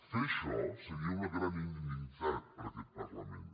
fer això seria una gran indignitat per a aquest parlament